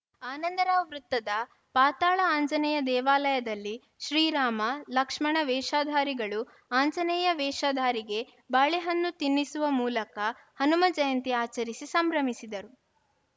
ಆನಂದರಾವ್‌ ವೃತ್ತದ ಪಾತಾಳ ಆಂಜನೇಯ ದೇವಾಲಯದಲ್ಲಿ ಶ್ರೀರಾಮ ಲಕ್ಷ್ಮಣ ವೇಷಧಾರಿಗಳು ಆಂಜನೇಯ ವೇಷಧಾರಿಗೆ ಬಾಳೆಹಣ್ಣು ತಿನ್ನಿಸುವ ಮೂಲಕ ಹನುಮ ಜಯಂತಿ ಆಚರಿಸಿ ಸಂಭ್ರಮಿಸಿದರು